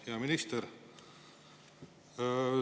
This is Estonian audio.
Hea minister!